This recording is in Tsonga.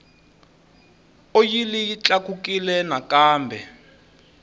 oyili yi tlakukile nakambe